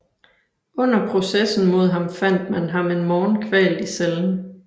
Under processen mod ham fandt man ham en morgen kvalt i cellen